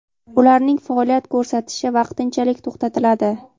ularning faoliyat ko‘rsatishi vaqtinchalik to‘xtatiladi.